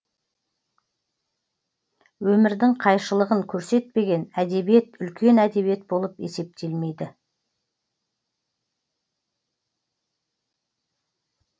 өмірдің қайшылығын көрсетпеген әдебиет үлкен әдебиет болып есептелмейді